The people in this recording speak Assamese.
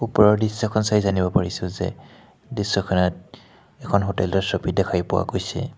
ওপৰৰ দৃশ্যখন চাই জানিব পাৰিছোঁ যে দৃশ্যখনত এখন হোটেল ৰ ছবি দেখি পোৱা গৈছে।